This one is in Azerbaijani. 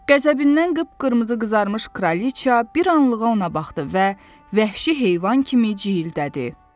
Qəzəbindən qıpqırmızı qızarmış kraliça bir anlığına ona baxdı və vəhşi heyvan kimi ciğildədi.